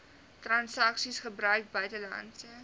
transaksies gebruik buitelandse